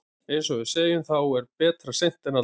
Eins og við segjum, þá er betra seint en aldrei.